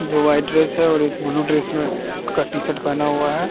जो white dress है और एक ब्लू ड्रेस में का टी-शर्ट पेहना हुआ है।